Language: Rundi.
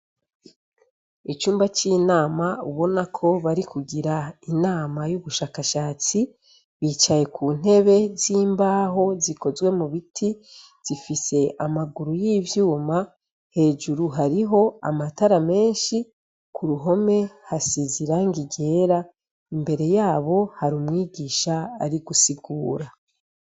Icumba c'inama ubona ko bari kugira inama y'ubushakashatsi, bicaye ku ntebe z'imbaho zikozwe mu biti zifise amaguru y'ivyuma, hejuru hariho amatara menshi, ku ruhome hasize irangi ryera, imbere yabo hari umwigisha ari gusigura.